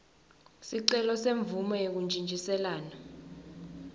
sicelo semvumo yekuntjintjiselana